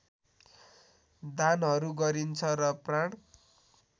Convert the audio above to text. दानहरू गरिन्छ र प्राण